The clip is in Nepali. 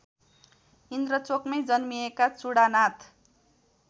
इन्द्रचोकमै जन्मिएका चुडानाथ